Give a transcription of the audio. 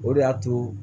O de y'a to